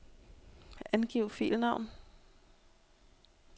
Angiv filnavn.